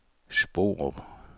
Sporup